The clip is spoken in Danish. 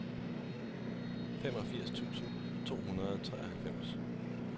femogfirs tusind to hundrede og treoghalvfems